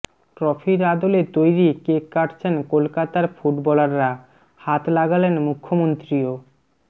ট্রফির আদলে তৈরি কেক কাটছেন কলকাতার ফুটবলাররা হাত লাগালেন মুখ্যমন্ত্রীও